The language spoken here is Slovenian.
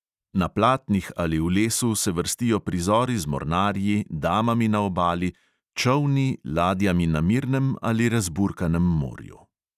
Na platnih ali v lesu se vrstijo prizori z mornarji, damami na obali, čolni, ladjami na mirnem ali razburkanem morju.